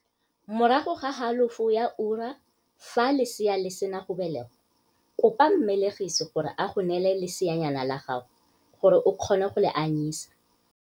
Morago ga halofo ya ura fa lesea le sena go belegwa kopa mmelegisi gore a go neele leseanyana la gago gore o kgone go le anyisa.